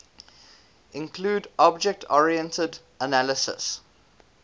include object oriented analysis